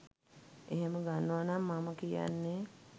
එහෙම ගන්නවා නම් මම කියන්නේ